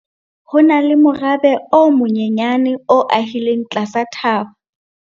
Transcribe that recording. Ho na le morabe o monyenyane o ahileng tlasa thaba.